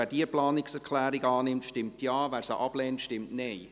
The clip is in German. Wer diese Planungserklärung annimmt, stimmt Ja, wer diese ablehnt, stimmt Nein.